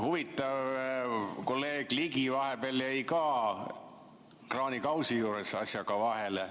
Huvitav, kolleeg Ligi vahepeal jäi ka kraanikausi juures asjaga vahele.